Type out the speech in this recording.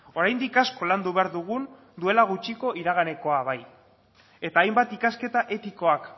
oraindik asko landu behar dugun duela gutxiko iraganekoa bai eta hainbat ikasketa etikoak